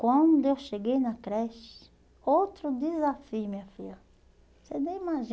Quando eu cheguei na creche, outro desafio, minha filha, você nem